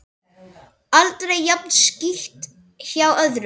Aldrei jafn skítt hjá öðrum.